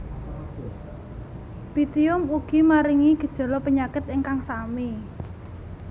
Pythium ugi maringi gejala penyakit ingkang sami